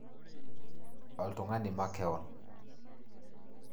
Oltungani makewon